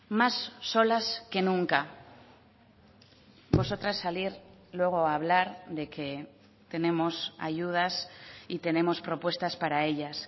más solas que nunca vosotras salir luego a hablar de que tenemos ayudas y tenemos propuestas para ellas